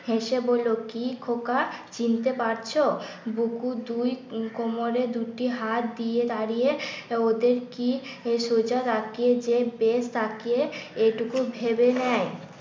হেসে বললো কি খোকা চিনতে পারছো? বুকু দুই কোমরে দুটি হাত দিয়ে দাঁড়িয়ে ওদের কি এ টুকু ভেবে নেয়